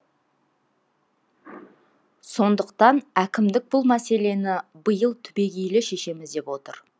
сондықтан әкімдік бұл мәселені биыл түбегейлі шешеміз деп отыр